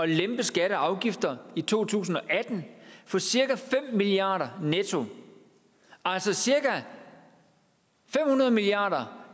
lempe skatter og afgifter i to tusind og atten for cirka fem milliard netto altså cirka fem hundrede milliard